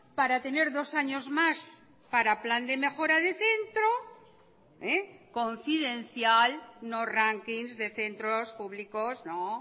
para tener dos años más para plan de mejora de centro confidencial no rankings de centros públicos no